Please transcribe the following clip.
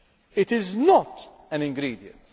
It is not an ingredient.